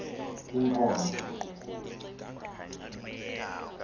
inkonzo